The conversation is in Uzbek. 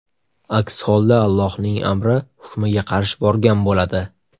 Aks holda, Allohning amri, hukmiga qarshi borgan bo‘ladi.